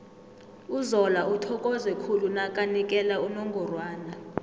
uzola uthokoze khulu nakanikela unongorwana